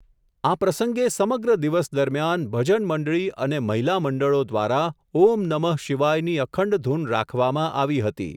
આ પ્રસંગે સમગ્ર દિવસ દરમિયાન, ભજન મંડળી અને મહિલા મંડળો દ્વારા, ઓમ નમઃ શિવાયની અખંડ ધૂન રાખવામાં આવી હતી.